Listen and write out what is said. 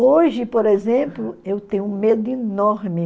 Hoje, por exemplo, eu tenho um medo enorme.